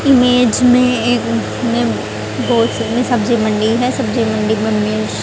image में एक में बहोत सब्जी मंडी है सब्जी मंडी में--